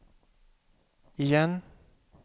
igen